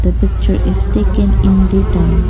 a picture is taken in day time.